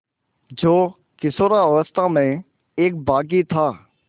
जो किशोरावस्था में एक बाग़ी था